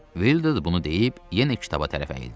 Vildur bunu deyib yenə kitaba tərəf əyildi.